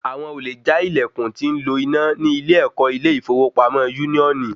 Àwọn olè já ìlèkùn tí ń lo iná ní ilé ẹkọ ilé ìfowópamọ́ úníónì